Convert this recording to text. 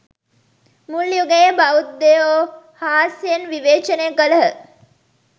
මුල් යුගයේ බෞද්ධයෝ හාස්‍යයෙන් විවේචනය කළහ.